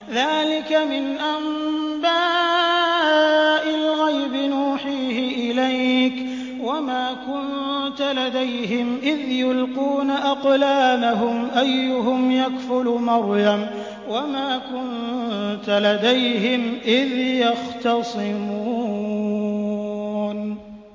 ذَٰلِكَ مِنْ أَنبَاءِ الْغَيْبِ نُوحِيهِ إِلَيْكَ ۚ وَمَا كُنتَ لَدَيْهِمْ إِذْ يُلْقُونَ أَقْلَامَهُمْ أَيُّهُمْ يَكْفُلُ مَرْيَمَ وَمَا كُنتَ لَدَيْهِمْ إِذْ يَخْتَصِمُونَ